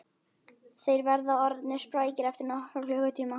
Þeir verða orðnir sprækir eftir nokkra klukkutíma